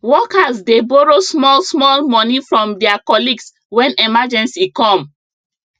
workers dey borrow small small money from their colleagues when emergency come